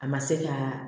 A ma se ka